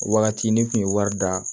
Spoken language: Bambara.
O wagati ne kun ye wari da